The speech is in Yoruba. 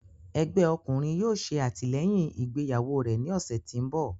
Ẹgbẹ ọkunrin yóò ṣe atilẹyin igbeyawo rẹ ni ọsẹ ti n bọ.